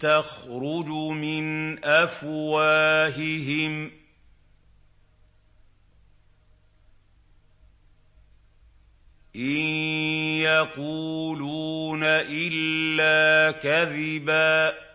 تَخْرُجُ مِنْ أَفْوَاهِهِمْ ۚ إِن يَقُولُونَ إِلَّا كَذِبًا